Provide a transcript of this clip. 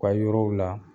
U ka yɔrɔw la